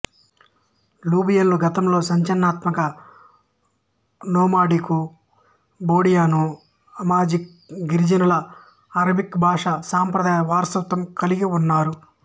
లిబియన్లు గతంలో సంచలనాత్మక nomadic Bedouin Amazigh గిరిజనుల అరబికు భాషా సంప్రదాయ వారసత్వం కలిగి ఉన్నారు